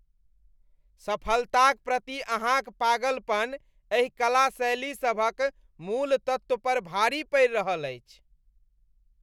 सफलताक प्रति अहाँक पागलपन एहि कला शैलीसभक मूलतत्व पर भारी पड़ि रहल अछि।